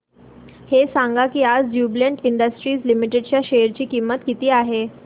हे सांगा की आज ज्युबीलेंट इंडस्ट्रीज लिमिटेड च्या शेअर ची किंमत किती आहे